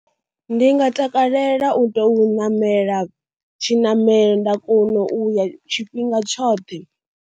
Ndi nga takalela u tea u ṋamela tshiṋamelo nda kona u ya tshifhinga tshoṱhe.